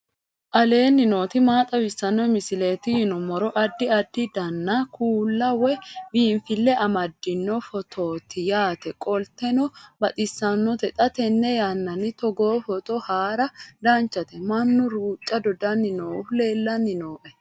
aleenni nooti maa xawisanno misileeti yinummoro addi addi dananna kuula woy biinfille amaddino footooti yaate qoltenno baxissannote xa tenne yannanni togoo footo haara danchate mannu ruuca dodanni noohu leellanni noe